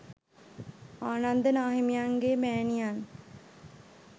ආනන්ද නාහිමියන්ගේ මෑණියන්